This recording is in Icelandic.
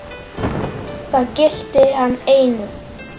Það gilti hann einu.